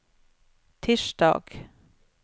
tirsdag